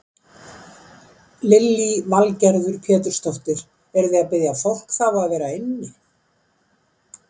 Lillý Valgerður Pétursdóttir: Eruð þið að biðja fólk þá að vera inni?